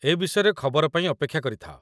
ଏ ବିଷୟରେ ଖବର ପାଇଁ ଅପେକ୍ଷା କରିଥାଅ ।